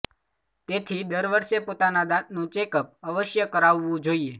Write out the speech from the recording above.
તેથી દર વર્ષે પોતાના દાંતનું ચેકઅપ અવશ્ય કરાવવું જોઇએ